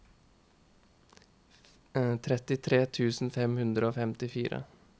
trettitre tusen fem hundre og femtifire